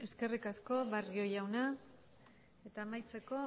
eskerrik asko barrio jauna eta amaitzeko